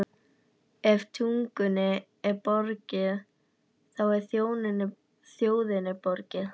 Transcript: Ef tungunni er borgið, þá er þjóðinni borgið.